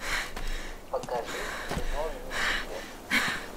покажи кино люцифер